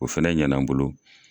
O fɛnɛ ɲɛna n bolo.